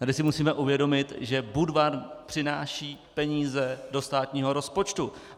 Tady si musíme uvědomit, že Budvar přináší peníze do státního rozpočtu.